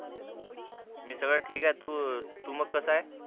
मी सगळं ठीक ए तू तू मग कसाय